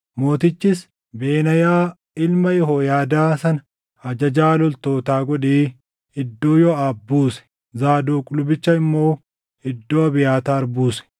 Mootichis Benaayaa ilma Yehooyaadaa sana ajajaa loltootaa godhee iddoo Yooʼaab buuse; Zaadoq lubicha immoo iddoo Abiyaataar buuse.